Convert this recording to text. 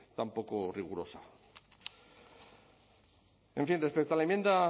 tan poco rigurosa en fin respecto a la enmienda